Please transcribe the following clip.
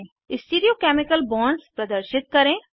stereo chemical bonds प्रदर्शित करें